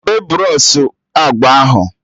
Debe bros u agba ahụ!